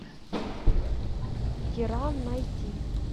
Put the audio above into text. киран найти